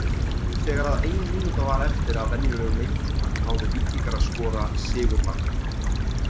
Þegar að ein mínúta var eftir af venjulegum leiktíma náðu Víkingar að skora sigurmarkið.